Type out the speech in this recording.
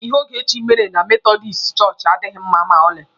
Ihe Ogechi mere na metọdis chọọchị adịghị mma ma ọlị